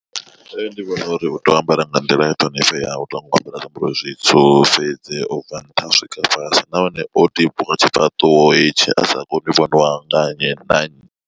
Nṋe ndi vhona uri u tea u ambara nga nḓila i ṱhonifheaho ya u to ambara zwiambaro zwitswu fhedzi ubva nṱha u swika fhasi nahone o tibiwa tshifhaṱuwo hetshi a sa koni u vhoniwa nga nnyi na nnyi.